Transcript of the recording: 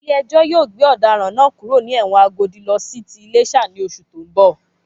Ilé ẹjọ́ yóò gbé ọ̀daràn náà kúrò ní ẹ̀wọ̀n Agodi lọ sí ti Iléṣà ní oṣù tó ń bọ̀